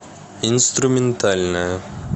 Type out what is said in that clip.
инструментальная